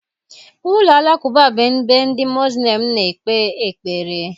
Ụlọ Alakụba bụ ebe ndị Muslim na-ekpe ekpere.